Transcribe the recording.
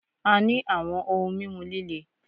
A ní àwọn ohun mímu líle